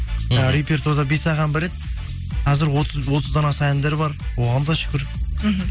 ііі репетуарда бес ақ ән бар еді қазір отыздан аса әндер бар оған да шүкір мхм